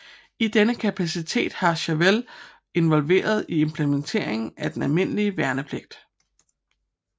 I denne kapacitet var Chauvel involveret i implementeringen af den almindelige værnepligt